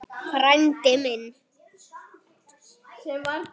Frændi minn!